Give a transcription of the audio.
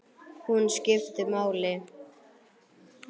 Hún skiptir máli.